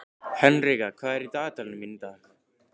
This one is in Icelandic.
Henrika, hvað er í dagatalinu mínu í dag?